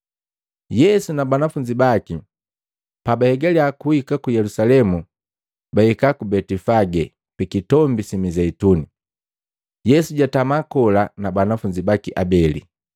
Yesu na banafunzi baki pa bahegali kuhika ku Yelusalemu, bahika ku Betifage pi Kitombi si Mizeituni. Yesu jaatama kola na banafunzi baki abeli,